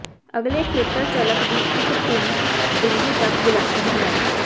ਅਗਲੇ ਖੇਤਰ ਝਲਕ ਦੀ ਇੱਕ ਭਿਨ ਬਿੰਦੂ ਤੱਕ ਵਿਲੱਖਣ ਹੈ